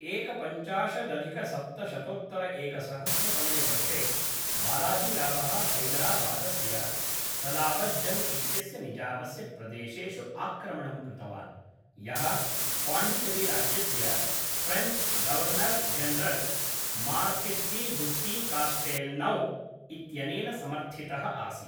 एकपञ्चाशदधिकसप्तशतोत्तरएकसहस्रतमे वर्षे, बालाजीरावः हैदराबादस्य सलाबतजङ्ग् इत्यस्य निजामस्य प्रदेशेषु आक्रमणं कृतवान्, यः पाण्डिचेरीराज्यस्य फ़्रेञ्च् गवर्नर् जनरल् मार्किस्डीबुस्सीकास्टेल्नौ इत्यनेन समर्थितः आसीत्।